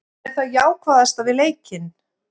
Það er það jákvæðasta við leikinn.